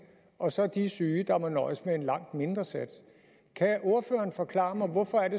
og så de syge der må nøjes med en langt mindre sats kan ordføreren forklare mig hvorfor